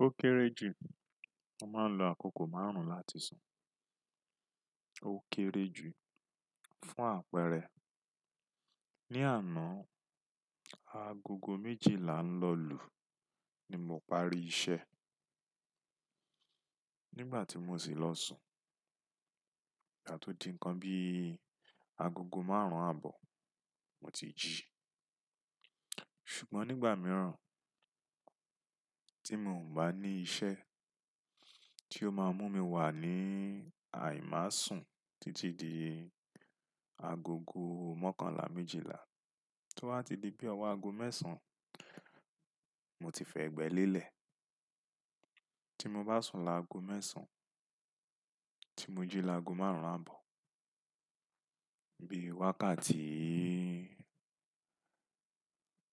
Ókéré jù, mo máa ń lo àkókò máàrún láti sùn. Ó kéré jù fún àpẹẹrẹ, ní àná, agogo méjìlá ń lọ lù ni mo parí iṣẹ́. Nígbà tí mo sì lọ sùn, à tó di ǹkan bí agogo márùn-ún àbọ̀ mo ti jí. Ṣùgbọ́n nígbà mìíràn tí mo ò bá ní iṣẹ́ tí ó máa mú mi wà ní àìmá sùn títí di agogo mọ́kànlá, méjìlá, tó bá ti di bí ọwọ́ ago mẹ́sàn moti fi ẹ̀gbẹ́ lélẹ̀. Tí mo bá sùn lágo mẹ́sàn-án, tí mo jí lágo márùn-ún àbọ̀, bí wákàtí,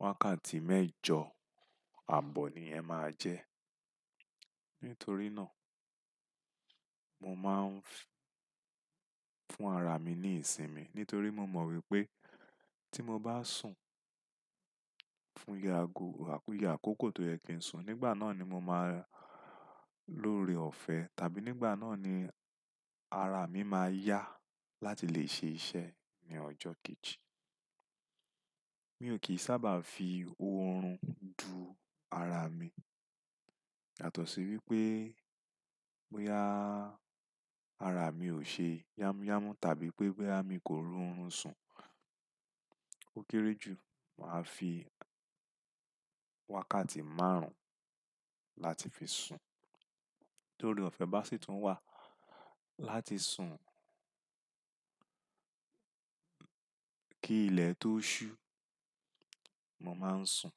wákàtí mẹ́jọ àbọ̀ ni yẹn máa jẹ́. Nítorí náà mo máa ń fún ara mi ní ìsinmi nítorí mo mọ wípé tí mo bá sùn fún iye àkókò tó yẹ kí ń sùn, nígbà náà ni mo máa lọ́ore ọ̀fẹ́ tàbí nígbà náà ni ara mi máa yá láti lè ṣe iṣẹ́ ní ọjọ́ kejì. Mi ò kì í sábà fi oorun du ara mi yàtọ̀ sí wípé bóyá ara mi ò ṣe yámúyámú tàbí pé bóyá mi kò ro orun sùn. Ó kéré jù, màá fi wákàtí márùn-ún láti fi sùn. Torí ọ̀fẹ́ bá sì tún wà láti sùn kí ilẹ̀ tó ṣú mo máa ń sùn.